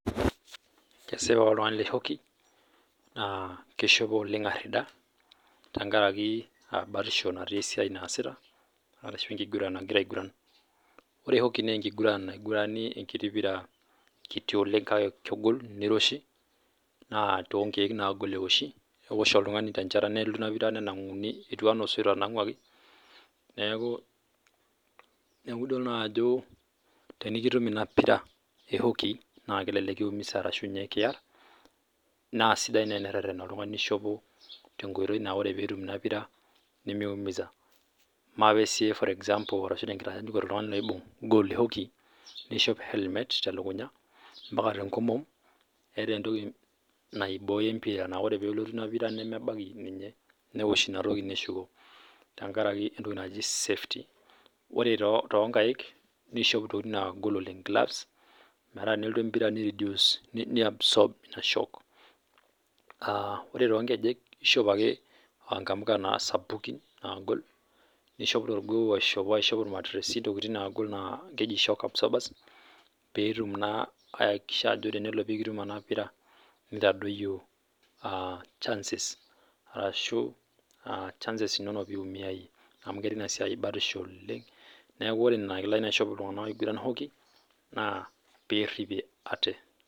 Kesipa ore oltungani le hockey naa keishopo oleng arida. Tenkarako batisho natii oleng esiai naasita ashu enkiguran nagira aiguran. Ore hockey naa enkiguran naigurani enkiti pira kiti oleng kake kegol neiroshi naa toonkeek naagol eigurani. Ewosh oltungani nenanguji etiu anaa osoit otananguaki niaku idol naa ajo tenikitum ona pira ehockey naa kelelek kiumisa arashuu kiar naa sidai naa eneretena oltungani tengoitoi naa tenelo netumore ina pira nemeumisa. Maape siiyie for Example arashu enkitanyaanyukoto oltungani oibung gooal e hockey, neishop helmet telukunya ompaka tenkomo eeta entoki naibooyo empira naa tenelotu empira nemebaiki ninye newosh ina toki neshuko tenkaraki entoki naji safety ore too nkaik neishop intokitin naangol oleng metaa tenelotu empira ne absorb ina shock. Ore too nkejek neishop ake inamuka sapuki naagol. Ore torgoo nishop irmatiresi intokitin nasngol naa keji shock absorber peyie etum naa ayakikisha ajo tenikitum ena pira neitadoyio, chances inonok peyie iumia iyie. Nenakilani naa eshop iltunganak oiguran hockey naa